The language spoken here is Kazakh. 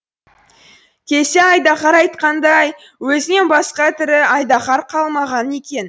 келсе айдаһар айтқандай өзінен басқа тірі айдаһар қалмаған екен